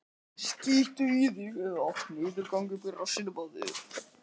Og hvernig sé hann þá fyrir sér framhaldið?